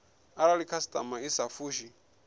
arali khasitama i sa fushi